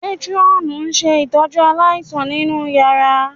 Métírọ́ọ̀nù ń ṣe ìtọ́jú aláìsàn nínú yàrá